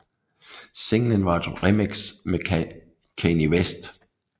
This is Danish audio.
Singlen var et remix med Kanye West